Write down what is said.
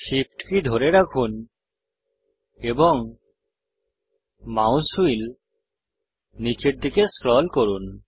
SHIFT কী ধরে রাখুন এবং মাউস হুইল নীচের দিকে স্ক্রল করুন